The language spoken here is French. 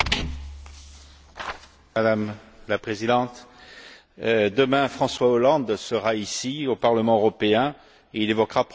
Madame la Présidente, demain, François Hollande sera ici, au Parlement européen, et il évoquera probablement la situation au Mali.